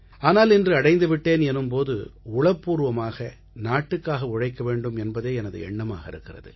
ஆனால் இன்று அடைந்து விட்டேன் எனும் போது உளப்பூர்வமாக நாட்டுக்காக உழைக்க வேண்டும் என்பதே எனது எண்ணமாக இருக்கிறது